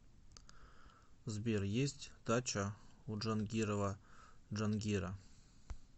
сбер есть дача у джангирова джангира